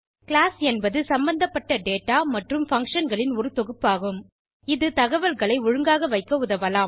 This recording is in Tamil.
கிளாஸ் என்பது சம்பந்தபட்ட டேட்டா மற்றும் பங்ஷன் களின் ஒரு தொகுப்பாகும் இது தகவலை ஒழுங்காக வைக்க உதவலாம்